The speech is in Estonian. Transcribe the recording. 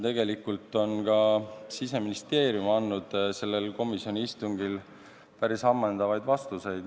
Tegelikult on ka Siseministeerium andnud sellel komisjoni istungil päris ammendavaid vastuseid.